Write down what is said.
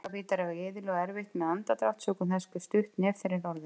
Bolabítar eiga iðulega erfitt með andardrátt sökum þess hve stutt nef þeirra er orðið.